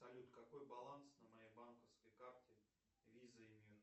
салют какой баланс на моей банковской карте виза и мир